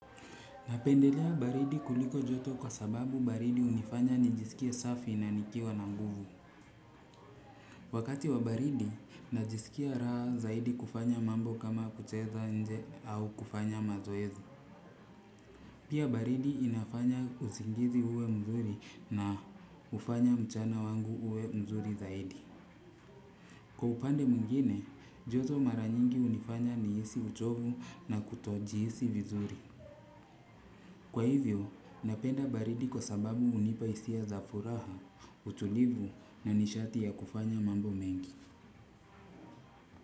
Napendelea baridi kuliko joto kwa sababu baridi hunifanya nijisikie safi na nikiwa na nguvu. Wakati wa baridi, najisikia raha zaidi kufanya mambo kama kucheza nje au kufanya mazoezi. Pia baridi inafanya usingizi uwe mzuri na hufanya mchana wangu uwe mzuri zaidi. Kwa upande mwingine, joto mara nyingi hunifanya nihisi uchovu na kutojihisi vizuri. Kwa hivyo, napenda baridi kwa sababu hunipa hisia za furaha, utulivu na nishati ya kufanya mambo mengi.